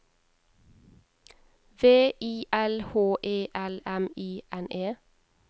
V I L H E L M I N E